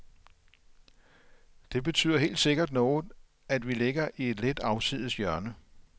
Det betyder helt sikkert noget, at vi ligger i et lidt afsides hjørne.